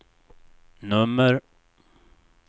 nummer